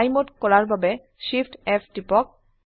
fly mode কৰাৰ বাবে Shift F টিপক